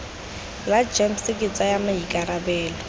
la gems ke tsaya maikarabelo